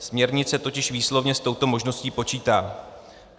Směrnice totiž výslovně s touto možností počítá."